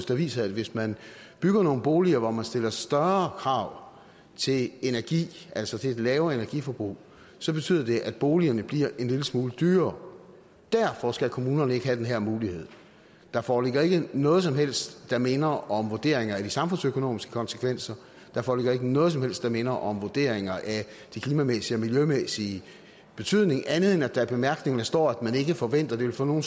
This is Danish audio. der viser at hvis man bygger nogle boliger hvor man stiller større krav til energi altså til et lavere energiforbrug så betyder det at boligerne bliver en lille smule dyrere derfor skal kommunerne ikke have den her mulighed der foreligger ikke noget som helst der minder om vurderinger af de samfundsøkonomiske konsekvenser der foreligger ikke noget som helst der minder om vurderinger af de klimamæssige og miljømæssige betydninger andet end at der i bemærkningerne står at man ikke forventer at det vil få nogen